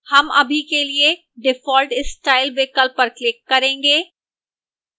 हम अभी के लिए default style विकल्प पर click करेंगे